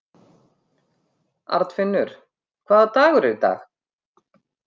Arnfinnur, hvaða dagur er í dag?